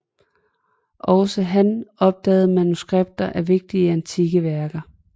Også han opdagede manuskripter af vigtige antikke værker